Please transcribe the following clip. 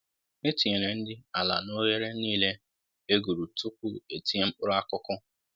E tinyere nri ala n'oghere niile e guru tupu e tinye mkpụrụ akụkụ